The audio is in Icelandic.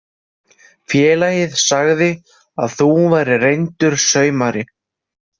Félagið sagði að þú værir reyndur saumari.